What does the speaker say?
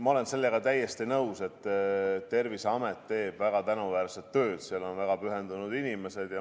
Ma olen sellega täiesti nõus, et Terviseamet teeb väga tänuväärset tööd, seal on väga pühendunud inimesed.